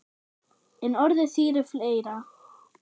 En orðið þýðir fleira.